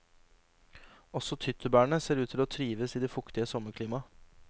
Også tyttebærene ser ut til å trives i det fuktige sommerklimaet.